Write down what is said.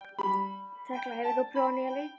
Tekla, hefur þú prófað nýja leikinn?